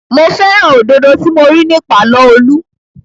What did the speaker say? Mo fẹ́ràn òdodo tí mo rí ní pàlọ́ Olú